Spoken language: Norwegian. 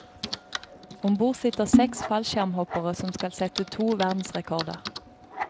Ombord sitter seks fallskjermhoppere som skal sette to verdensrekorder.